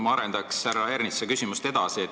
Ma arendan härra Ernitsa küsimust edasi.